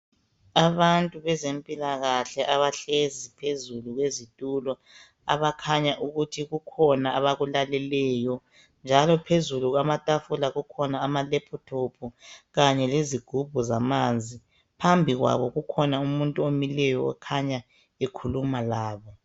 Abantu bezempilakahle abahlezi phezulu kwezitulo. Abakhanya ukuthi kukhona abakulaleleyo njalo phezulu kwamatafula kukhona amalaptop kanye lezigubhu zamanzi. Phambi kwabo kukhona umuntu omileyo okhanya ekhuluma labo.